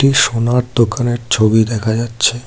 একটি সোনার দোকানের ছবি দেখা যাচ্ছে।